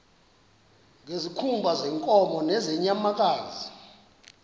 ngezikhumba zeenkomo nezeenyamakazi